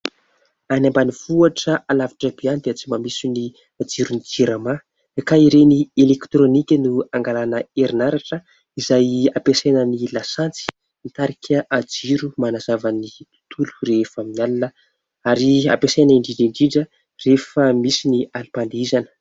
Any ambanivohitra alavitra be any dia tsy mba misy ny jiron'ny jirama ka ireny ''électronique" no angalana herinaratra izay ampiasaina ny lasantsy. Mitarika jiro manazava ny tontolo rehefa amin'ny alina ary ampiasaina indrindra indrindra rehefa misy ny alim-pandihizana.